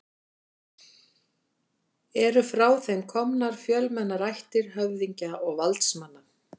Eru frá þeim komnar fjölmennar ættir höfðingja og valdsmanna.